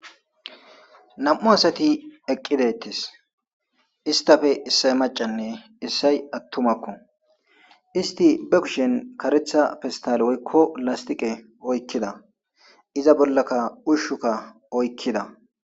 Nam'u asati eqqidettis istafe issay macanne issay attumakko isti be kushen karetha festal woykko lastiqe oykkida iza bollaka ushshukka oykkida.